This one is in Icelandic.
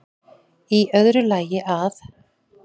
Í öðru lagi að